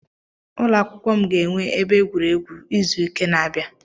Ụlọakwụkwọ m ga-enwe ebe egwuregwu izu nke na-abịa